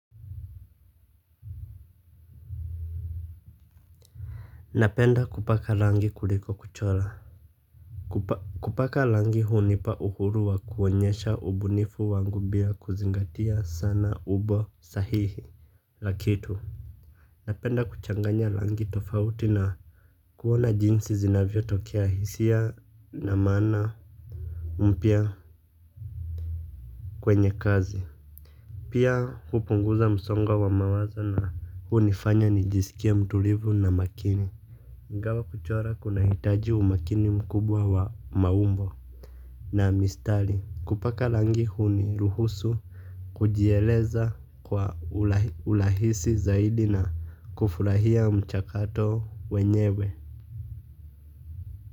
Napenda kupaka rangi kuliko kuchora. Kupa kupaka rangi hunipa uhuru wa kuonyesha ubunifu wangu bila kuzingatia sana ubo sahihi. La kitu napenda kuchanganya rangi tofauti na kuona jinsi zinavyo tokea hisia na maana mpya kwenye kazi, pia hupunguza msongo wa mawazo na hunifanya nijisikie mtulivu na makini. Ingawa kuchora kuna hitaji umakini mkubwa wa maumbo na mistari kupaka rangi huniruhusu kujieleza kwa urahisi zaidi na kufurahia mchakato wenyewe.